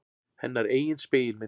Hennar eigin spegilmynd.